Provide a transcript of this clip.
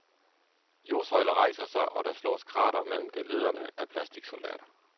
Jordsøjler rejser sig, og der slås kratere mellem geledderne af plasticsoldater.